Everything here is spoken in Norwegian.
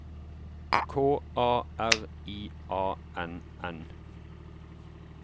K A R I A N N